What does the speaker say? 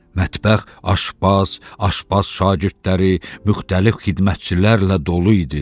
Mətbəx aşbaz, aşbaz şagirdləri, müxtəlif xidmətçilərlə dolu idi.